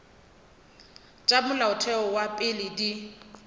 tša molaotheo wa pele di